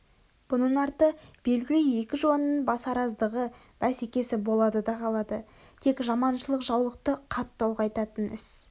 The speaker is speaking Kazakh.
бұның арты белгілі екі жуанның басараздығы бәсекесі болады да қалады тек жаманшылық жаулықты қатты ұлғайтатын іс